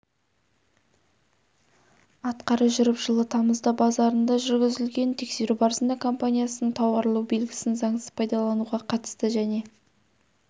атқара жүріп жылы тамызда базарында жүргізілген тексеру барысында компаниясының тауарлы белгісін заңсыз пайдалануға қатысты және